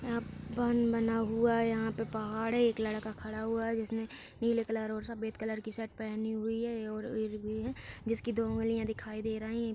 यहां पर बाँध बना हुआ है। यहां पर पहाड़ है। एक लड़का खड़ा हुआ है जिसने नीले कलर और सफेद कलर की शर्ट पहनी हुई है और जिस कि दो उँगलियाँ दिखाई दे रही हैं।